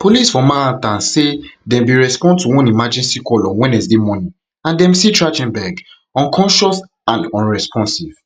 police for manhattan say dem bin respond to one emergency call on wednesday morning and dem see trach ten berg unconscious and unresponsive